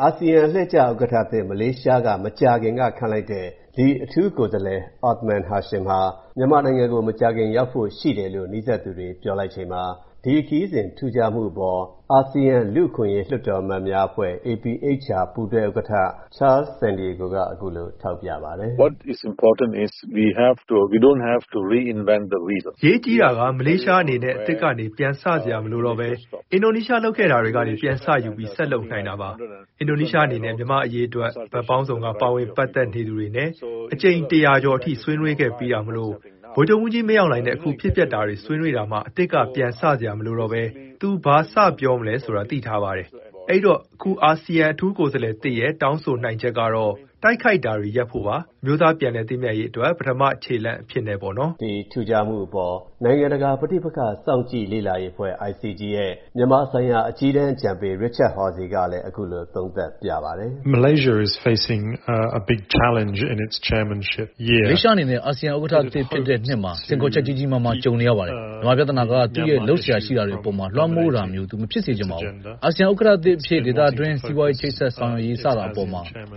အာဆီယံ အလှည့်ကျဥက္ကဋ္ဌသစ် မလေးရှားက မကြာခင်ကခန့်လိုက်တဲ့အထူးကိုယ်စားလှယ် Othman Hashim ဟာ မြန်မာနိုင်ငံကို မကြာခင်ရောက်ဖို့ရှိတယ်လို့ နီးစပ်သူတွေပြောပါတယ်။ ဒီ ခရီးစဉ် ထူးခြားမှုအပေါ် အာဆီယံလူ့အခွင့်အရေး လွှတ်တော်အမတ်များအဖွဲ့ ပူးတွဲဥက္ကဋ္ဌ Charles Santiago က အခုလို ထောက်ပြပါတယ်။ “အရေးကြီးတာက မလေးရှားအနေနဲ့ အသစ်ကနေပြန်စစရာမလိုတော့ဘဲ အင်ဒိုနီးရှားလုပ်ခဲ့တာကနေ ပြန်စယူပြီး ဆက်လုပ်နိုင်တာပါ။ အင်ဒိုနီးရှားအနေနဲ့ မြန်မာ့အရေးအတွက် ဘက်ပေါင်းစုံက ပါဝင် ပတ်သက်သူတွေနဲ့ အကြိမ် ၁၀၀ ကျော်အထိ ဆွေးနွေးခဲ့ပြီးတာမို့ ဗိုလ်ချုပ်ကြီးမင်းအောင်လှိုင်နဲ့ အခုဖြစ်ပျက်တာတွေဆွေးနွေးတာမှာ အသစ်ကပြန်စ,စရာမလိုဘဲ သူဘာစပြောရမလဲဆိုတာ သိ ထားပါတယ်။ အဲ့ဒိတော့ အခု အာဆီယံအထူးကိုယ်စားလှယ်သစ်ရဲ့ တောင်းဆိုနိုင်ချက်ကတော့ တိုက်ခိုက်တာတွေ ရပ်ဖို့ပါ။ အမျိုးသားပြန်လည်သင့်မြတ်ရေးအတွက် ပထမခြေလှမ်းအဖြစ်နဲ့ ပေါ့နော်။” ဒီ ထူးခြားမှုအပေါ် နိုင်ငံတကာ ပဋိပက္ခ စောင့်ကြည့်ေလာရေးအဖွဲ့ ရဲ့ မြန်မာဆိုင်ရာ အကြီးတန်း အကြံပေး Richard Horsey ကလည်း အခုလို သုံးသပ်ပြပါတယ်။ “မလေးရှားအနေနဲ့ အာဆီယံဥက္ကဋ္ဌသစ်ဖြစ်တဲ့နှစ်မှာ စိန်ခေါ်ချက် ကြီးကြီးမားမား ကြုံနေရပါတယ်။ မြန်မာပြဿနာက သူ့ရဲ့ လုပ်စရာရှိတာတွေအပေါ် လွှမ်းမိုးတာမျိုး သူ မဖြစ်စေချင်ပါဘူး။ အာဆီယံ ဥက္ကဋ္ဌသစ်အဖြစ် ဒေသတွင်း စီးပွားရေးချိတ်ဆက်ဆောင်ရွက်ရေး-စတာအပေါ် မ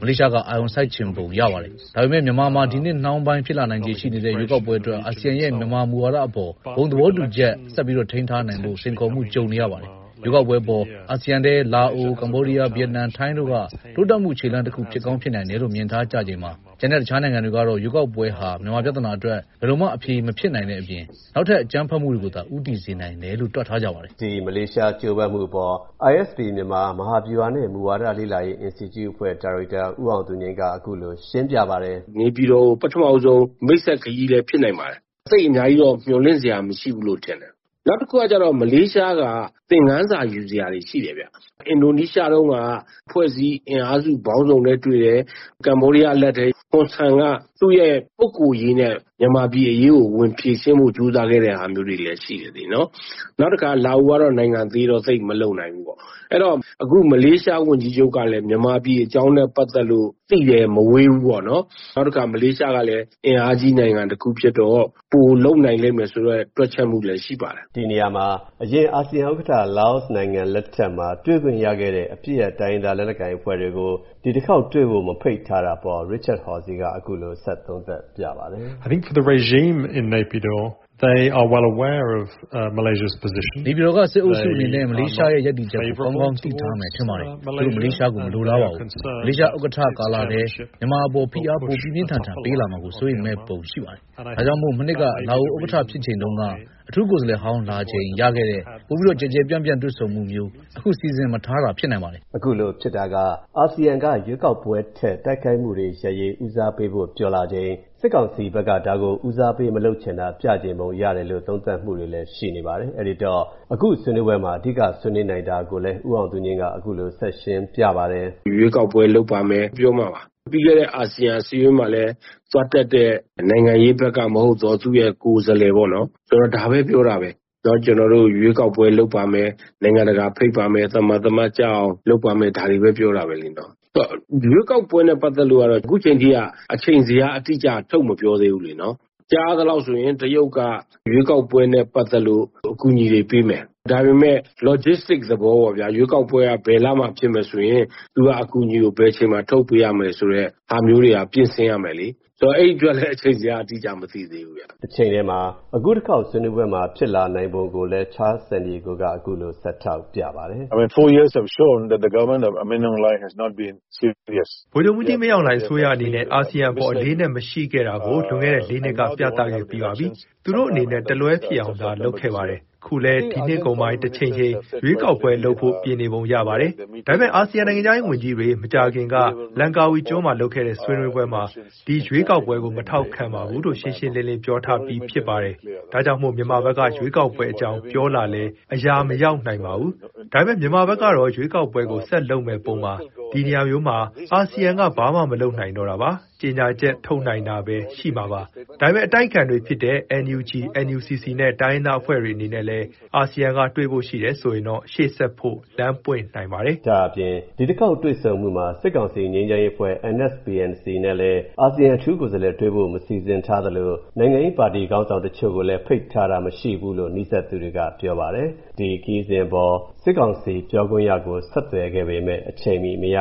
လေးရှားက အာရုံ စိုက်ချင်ပုံရပါတယ်။ ဒါပေမဲ့ မြန်မာမှာ ဒီနှစ်နှောင်းပိုင်း ဖြစ်လာနိုင်ခြေရှိနေတဲ့ ရွေးကောက်ပွဲအတွက် အာဆီယံရဲ့ မြန်မာမူဝါဒအပေါ် ဘုံသဘောတူချက်ဆက်ထိန်းထားနိုင်ဖို့ စိန်ခေါ်မှုကြုံနေရပါတယ်။ ရွေးကောက်ပွဲအပေါ် အာဆီယံထဲ လားအို၊ ကမ္ဘောဒီးယား၊ ဗီယက်နမ်၊ ထိုင်းတို့က တိုးတက်မှု ခြေလှမ်းတခုဖြစ်ကောင်းဖြစ်နိုင်တယ်လို့ မြင်ထားကြချိန်မှာ ကျန်တဲ့တခြားနိုင်ငံ တွေကတော့ ရွေးကောက်ပွဲဟာ မြန်မာပြဿနာအတွက် ဘယ်လိုမှ အဖြေမဖြစ်နိုင်တဲ့အပြင် နောက်ထပ် အကြမ်းဖက်မှုတွေကိုသာ ဦးတည်စေနိုင်တယ်လို့ တွက်ထားကြပါတယ်။” ဒီ မလေးရှား ကြိုးပမ်းမှုအပေါ် ISP မြန်မာ မဟာဗျူဟာနှင့် မူဝါဒလေ့လာရေး အင်စတီကျုအဖွဲ့ ဒါရိုက်တာ ဦးအောင်သူငြိမ်းက အခုလို ရှင်းပြပါတယ်။ “နေပြည်တော်ကို ပထမဆုံး မိတ်ဆက်ခရီးလည်းဖြစ်နိုင်ပါတယ်။ သိပ်အများကြီးတော့ မျှော်လင့်စရာ မရှိဘူးလို့ ထင်တယ်။ နောက်တခုကကျတော့ မလေးရှားက သင်ခန်းစာယူစရာတွေ ရှိတယ်။ အင်ဒိုနီးရှားတုန်းက အဖွဲ့အစည်း အင်အားစုပေါင်းစုံနဲ့တွေ့တယ်။ ကမ္ဘောဒီးယားအလှည့်ထဲ ဟွန်ဆန်က သူ့ရဲ့ပုဂ္ဂိုလ်ရေးနဲ့ ဗမာပြည်အရေးကိုဝင်ဖြေရှင်းဖို့ ကြိုးစားခဲ့တဲ့ဟာမျိုးလေးတွေလည်း ရှိတယ်လေ၊ နော်။ နောက်တခါ လာအိုကတော့ နိုင်ငံသေးတော့ သိပ်မလုပ်နိုင်ဘူးပေါ့။ အဲဒီတော့ မလေးရှားဝန်ကြီးချုပ်ကလည်း မြန်မာပြည်အကြောင်းနဲ့ပတ်သက်လို့ သိပ်လည်းမဝေးဘူးပေါ့နော်။ နောက်တခါ မလေးရှားကလည်း အင်အားကြီးနိုင်ငံတခုဖြစ်တော့ ပိုလုပ်နိုင်မယ်ဆိုတဲ့ တွက်ချက်မှုလည်း ရှိပါတယ်။” ဒီနေရာမှာ အရင် အာဆီယံဥက္ကဋ္ဌ လာအိုနိုင်ငံလက်ထက်မှာ တွေ့ခွင့်ရခဲ့တဲ့ အပစ်ရပ် တိုင်းရင်းသား လက်နက်ကိုင်အဖွဲ့တွေကို ဒီတစ်ခေါက်တွေ့ဖို့ မဖိတ်ထားတာအပေါ် Richard Horsey က အခုလို ဆက်သုံးသပ်ပြပါတယ်။ “နေပြည်တော်ကစစ်အုပ်စုအနေနဲ့ မလေးရှားရဲ့ရပ်တည်ချက်ကို ကောင်းကောင်းသိထားမယ် ထင်ပါတယ်။ သူတို့ မလေးရှားကို မလိုလားပါဘူး။ မလေးရှားဥက္ကဋ္ဌကာလထဲ မြန်မာအပေါ် ဖိအား ပိုပြင်းပြင်းထန်ထန်ပေးလာမှာ စိုးရိမ်မဲ့ပုံရှိပါတယ်။ ဒါကြောင့်မို့ မနှစ်က လာအိုဥက္ကဋ္ဌဖြစ်ချိန်တုန်းက အထူးကိုယ်စားလှယ်ဟောင်း လာချိန်ရခဲ့တဲ့ ပိုကျယ်ကျယ်ပြန့်ပြန့် တွေ့ဆုံမှုမျိုး အခု မစီစဉ်ထားတာ ဖြစ်နိုင်ပါတယ်။” အခုလိုဖြစ်တာက အာဆီယံက ရွေးကောက်ပွဲထက် တိုက်ခိုက်မှုတွေရပ်ရေး ဦးစားပေးဖို့ ပြောလာချိန်၊ စစ်ကောင်စီဘက်က ဒါကို ဦးစားပေးမလုပ်ချင်တာ ပြချင်ပုံရတယ်လို့ သုံးသပ်မူတွေလည်း ရှိနေပါတယ်။ အဲ့ဒိတော့ အခုဆွေးနွေးပွဲမှာ အဓိက ဆွေးနွေးနိုင်တာကိုလည်း ဦးအောင်သူငြိမ်းက အခုလို ဆက်ရှင်းပြပါတယ်။ “ရွေးကောက်ပွဲလုပ်ပါမယ်၊ ပြီးတော့မှ ပြီးခဲ့တဲ့အာဆီယံအစည်းအဝေးမှာလည်းပဲ သွားတက်တဲ့ နိုင်ငံရေးဘက်ကမဟုတ်သော သူ့ရဲ့ကိုယ်စားလှယ်ပေါ့နော်- ဒါပဲ ပြောတာပဲ။ ‘ကျနော်တို့ ရွေးကောက်ပွဲ လုပ်ပါမယ်၊ နိုင်ငံတကာဖိတ်ပါမယ်၊ သမာသမတ်ကျအောင်လုပ်ပါမယ်၊’ ဒါတွေပဲ ပြောတာပဲလေ-နော်။ ရွေးကောက်ပွဲနဲ့ပတ်သက်လို့ကတော့ အခုချိန်ထိက အချိန်ဇယားအတိအကျ ထုတ်မပြောသေးဘူး လေ-နော်။ ကြားရသလောက်ဆိုရင် တရုတ်က ရွေးကောက်ပွဲနဲ့ပတ်သက်လို့ အကူအညီတွေပေးမယ်၊ ဒါပေမဲ့ logisitic သဘောပေါ့ဗျာ။ ရွေးကောက်ပွဲက ဘယ်လမှာဖြစ်မယ်ဆိုရင် သူက အကူအညီကို ဘယ်အချိန်မှာ ထုတ်ပေးရမယ်ဆိုတဲ့ဟာမျိုးတွေက ပြင်ဆင်ရမယ်လေ။ ဆိုတော့ အဲဒီအတွက် အချိန်ဇယား အတိအကျက မသိသေးဘူးဗျ။” တချိန်တည်းမှာ အခုတခေါက်ဆွေးနွေးပွဲမှာ ဖြစ်လာနိုင်ပုံကိုလည်း Charles Santiago က အခုလို ဆက်ထောက်ပြပါတယ်။ “ဗိုလ်ချုပ်မှူးကြီး မင်းအောင်လှိုင်အစိုးရအနေနဲ့ အာဆီယံအပေါ် အလေးအနက်မရှိခဲ့တာကို လွန်ခဲ့တဲ့ ၄ နှစ်က ပြခဲ့ပြီးပါပြီ။ သူတို့အနေနဲ့ တလွဲဖြစ်အောင်သာလုပ်ခဲ့ပါတယ်။ အခုလည်း ဒီနှစ်ကုန်ပိုင်း တချိန်ချိန် ရွေးကောက်ပွဲလုပ်ဖို့ ပြင်နေပုံရပါတယ်။ ဒါပေမဲ့ အာဆီယံ နိုင်ငံခြားရေးဝန်ကြီးတွေ မကြာခင်က Langkawi ကျွန်းမှာလုပ်တဲ့ဆွေးနွေးပွဲမှာ ဒီရွေးကောက်ပွဲကို မထောက်ခံပါဘူးလို့ ရှင်းရှင်းလင်းလင်း ပြောထားပြီးပြီ ထင်ပါတယ်။ ဒါကြောင့်မို့ မြန်မာဘက်က ရွေးကောက်ပွဲ အကြောင်းပြောလာလည်း အရာမရောက်နိုင်ပါဘူး။ ဒါပေမဲ့ မြန်မာဘက်ကတော့ ရွေးကောက်ပွဲကို ဆက်လုပ်မဲ့ပုံပါ။ ဒီနေရာမျိုးမှာ အာဆီယံက ဘာမှမလုပ်နိုင်တော့တာပါ။ ကြေညာချက်ထုတ်နိုင်တာပဲ ရှိနိုင်မှာပါ။ ဒါပေမဲ့ အတိုက်အခံတွေဖြစ်တဲ့ NUG NUCC နဲ့ တိုင်းရင်းသားအဖွဲ့တွေနဲ့လည်း အာဆီယံကတွေ့ဖို့ရှိတယ်ဆိုရင်တော့ ရှေ.ဆက်ဖို့ လမ်းပွင့်နိုင်ပါတယ်။” ဒါ့အပြင် ဒီတခေါက်တွေ့ဆုံမှုမှာ စစ်ကောင်စီ ငြိမ်းချမ်းရေးအဖွဲ့ NSPNC နဲ့လည်း အာဆီယံ အထူး ကိုယ်စားလှယ်တွေ့ဖို့ မစီစဉ်ထားသလို နိုင်ငံရေးပါတီခေါင်းဆောင်တချို့ကိုလည်း ဖိတ်ထားတာ မရှိဘူးလို့ နီးစပ်သူတွေက ပြောပါတယ်။ ဒီခရီးစဉ်အပေါ် စစ်ကောင်စီ ပြောခွင့်ရကို ဆက်သွယ်ခဲ့ပေမဲ့ အချိန်မီ မရ